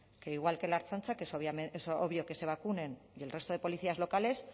que igual que la ertzaintza que es obvio que se vacunen y el resto de policías locales